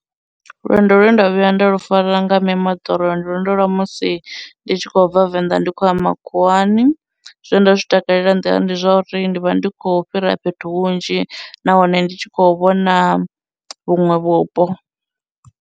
Lwendo lwe nda vhuya nda lu fara nga mimoḓoro ndi lwendo lwa musi ndi tshi khou bva venḓa ndi khou ya makhuwani, zwe nda zwi takalela nḓilani ndi zwa uri ndi vha ndi khou fhira fhethu hunzhi nahone ndi tshi khou vhona vhuṅwe vhupo.